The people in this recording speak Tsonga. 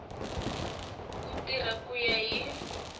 ku tirha ku ya hi